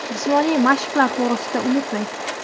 Jismoniy mashqlar to‘g‘risida unutmang .